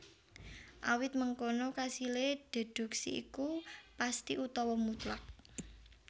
Awit mangkono kasilé déduksi iku pesthi utawa mutlak